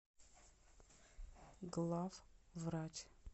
главврач